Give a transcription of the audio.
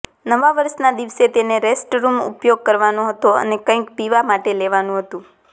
નવા વર્ષના દિવસે તેને રેસ્ટરૂમ ઉપયોગ કરવાનો હતો અને કંઇક પીવા માટે લેવાનું હતું